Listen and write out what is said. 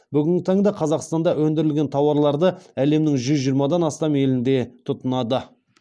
бүгінгі таңда қазақстанда өндірілген тауарларды әлемнің жүз жиырмадан астам елінде тұтынады